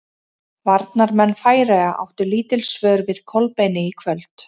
Varnarmenn Færeyja áttu lítil svör við Kolbeini í kvöld.